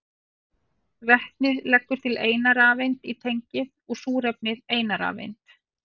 Vetnið leggur til eina rafeind í tengið og súrefnið eina rafeind.